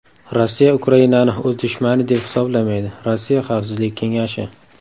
Rossiya Ukrainani o‘z dushmani deb hisoblamaydi Rossiya Xavfsizlik kengashi.